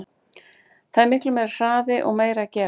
Það er miklu meiri hraði og meira að gera.